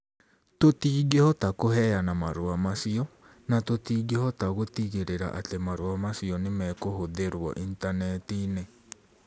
Tũtingĩhota kũheana marũa macio, na tũtingĩhota gũtigĩrĩra atĩ marũa macio nĩ mekũhũthĩrũo Intaneti-inĩ.